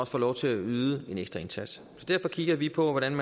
får lov til at yde en ekstra indsats så derfor kigger vi på hvordan